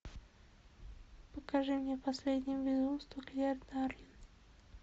покажи мне последнее безумство клер дарлин